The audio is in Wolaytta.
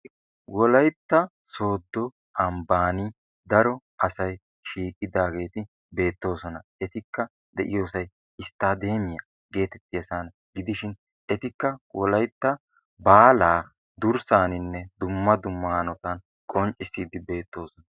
Wolaytta sodo ambbani daro asay shiiqidageti beetosona. Etikka deiyosay istadeemiya geetetiyasa gidishin; etikka wolaytta baalaa durssaninne dumma dumma hanotan qonccissidi beetosona.